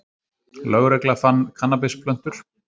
Lögregla fann kannabisplöntur